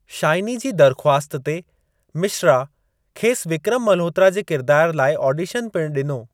Shiny ji दरख़्वास्त ते मिश्रा खेसि विक्रम मल्होत्रा जे किरदारु लाइ आडीशनु पिणु ॾिनो।